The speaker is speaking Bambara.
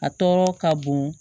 A tɔɔrɔ ka bon